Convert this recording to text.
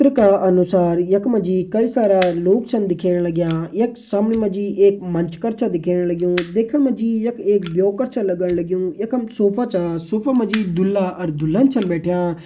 चित्र का अनुसार यख मा जी कई सारा लोग छन दिखेण लग्यां यख सामने मा जी मंच कर छ दिखेण लग्युं देखण मा जी यख एक ब्यो कर छ लगण लग्युं यखम सोफा छा सोफा मा जी दूल्हा अर दुल्हन छन बैठ्यां।